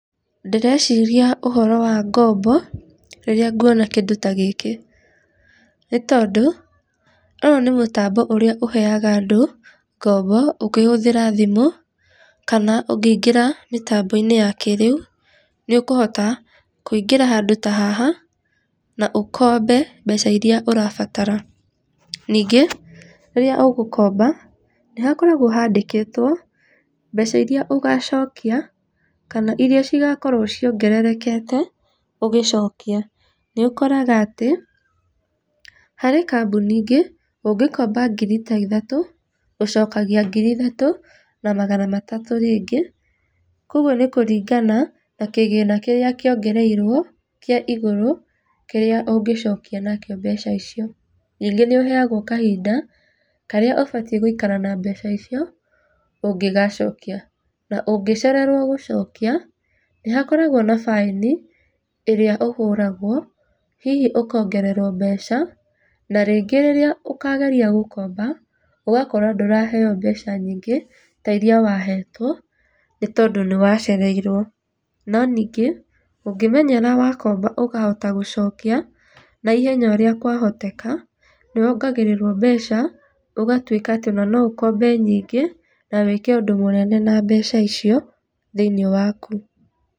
Ndĩreciria ũhoro wa ngombo rĩrĩa nguona kĩndũ ta gĩkĩ. Nĩ tondũ, ũyũ nĩ mũtambo ũrĩa ũheaga andũ ngoombo ũkĩhũthĩra thimũ kana ũngĩingĩra mĩtambo-inĩ ya kĩrĩu, nĩ ũkohota kũingĩra handũ ta haha na ukombe mbeca iria ũrabatara. Ningĩ rĩrĩa ũgũkomba nĩ hakoragwo handĩkĩtwo mbeca iria ũgacokia kana iria cigakorwo ciongererekete ũgĩcokia. Nĩ ũkoraga atĩ harĩ kambuni ingĩ ũngĩkomba ngiri ta ithatũ, ũcokagia ngiri ithatũ na magana ta matatũ rĩngĩ. Koguo nĩ kũringana na kĩgĩna kĩrĩa kĩongereirwo kĩa igũrũ kĩrĩa ũngĩcokia nakĩo mbeca icio. Ningĩ nĩ ũheagwo kahinda karĩa ũbatiĩ gũikara na mbeca icio ũngĩgacokia, na ũngĩcererwo gũcokia nĩ hakoragwo na baĩni ĩrĩa ũhũragwo hihi ũkongererwo mbeca na rĩngĩ rĩrĩa ũkageria gũkomba ũgakorwo ndũraheo mbeca nyingĩ ta iria wahetwo, nĩ tondũ nĩ wacereirwo, no ningĩ ũngĩmenyera wakomba ũkahota gũcokia na ihenya o ũrĩa kwahoteka nĩwongagĩrĩrwo mbeca ũgatuĩka atĩ ona no ũkombe nyingĩ na wĩke ũndũ mũnene na mbeca icio thĩiniĩ waku.